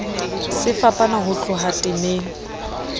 se fapana ho tloha temeng